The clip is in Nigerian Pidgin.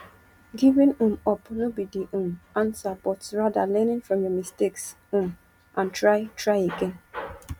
giving um up no be di um answer but rather learning from your mistakes um and try try again